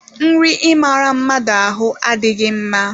Nri ị maara mmadụ ahụ adịghị mma.